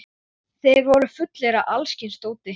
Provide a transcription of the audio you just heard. Þeir voru fullir af alls kyns dóti.